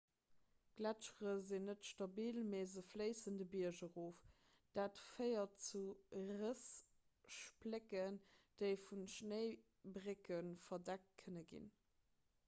d'gletschere sinn net stabil mee se fléissen de bierg erof dat féiert zu rëss splécken déi vu schnéibrécke verdeckt kënne ginn